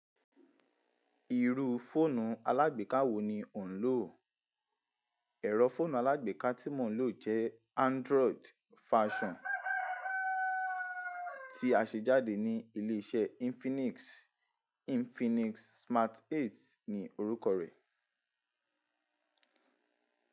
Irú fóònù alágbèká wo ni o ń lò? Ẹ̀rọ fọ́ọ̀nù alágbèká tí mò ń lò jẹ́ Android version tí a ṣe jáde ní ilé iṣẹ́ Infinix, Infinix Smart 8 ni orúkọ rẹ̀.